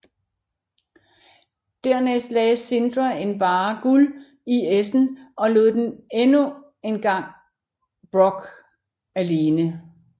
Dernæst lagde Sindre en barre guld i essen og lod endnu engang Brokk alene